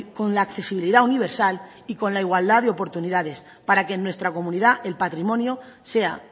con la accesibilidad universal y con la igualdad de oportunidades para que en nuestra comunidad el patrimonio sea